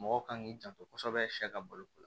Mɔgɔw kan k'i janto kosɛbɛ sɛ ka balo